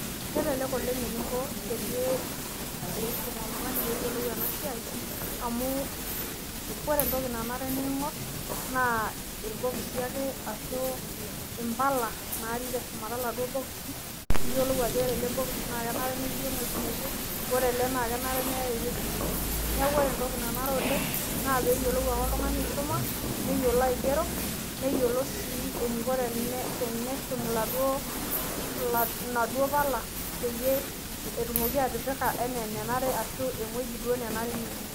Kelelek oleng eninko peyie iisum oltungani pee eyiolou ena siai amu ore entoki nanare neingorr naa imbala ake natii teshumata irboxi pee eyiolou ewueji nanare netii. Neeku pee eyiolou oltungani aisuma neyiolou sii aigero tenebo eniko teneshum mpala pee epik ewueji nenare